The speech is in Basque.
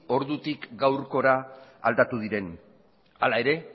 ordutik gaurkora aldatu diren hala ere